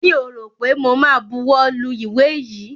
Mi ò rọ̀ pé mo ma buwọ́ lu ìwé yìí.